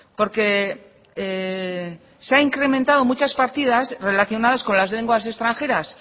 porque se ha incrementado muchas partidas relacionadas con las lenguas extranjeras